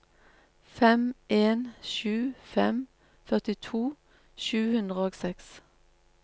fem en sju fem førtito sju hundre og seks